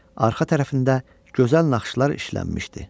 Arxa tərəfində gözəl naxışlar işlənmişdi.